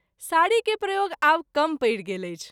साड़ी के प्रयोग आब कम परि गेल अछि।